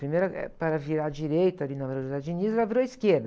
Primeiro, ãh, era para virar à direita ali na Vereador José Diniz, ela virou à esquerda.